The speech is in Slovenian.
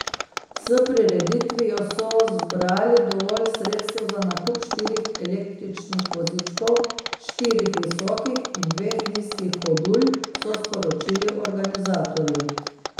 S prireditvijo so zbrali dovolj sredstev za nakup štirih električnih vozičkov, štirih visokih in dveh nizkih hodulj, so sporočili organizatorji.